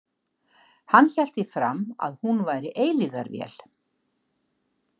Hann hélt því fram að hún væri eilífðarvél.